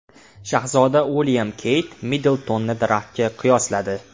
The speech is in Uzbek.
Shahzoda Uilyam Keyt Middltonni daraxtga qiyosladi.